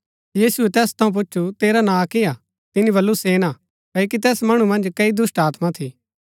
यीशुऐ तैस थऊँ पूच्छु तेरा नां किआ तिनी वलु सेना क्ओकि तैस मणु मन्ज कई दुष्‍टात्मा थी